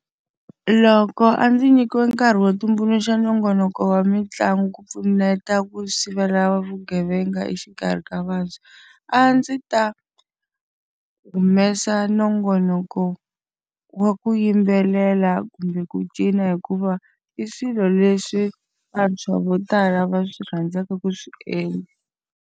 Loko a ndzi nyikiwe nkarhi wo tumbuluxa nongonoko wa mitlangu ku pfuneta ku sivela vugevenga exikarhi ka vantshwa. A ndzi ta humesa nongonoko wa ku yimbelela kumbe ku cina hikuva, i swilo leswi vantshwa vo tala va swi rhandzaka ku swi endla.